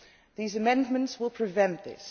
These amendments will prevent this.